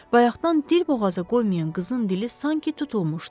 Bayaqdan dilboğaza qoymayan qızın dili sanki tutulmuşdu.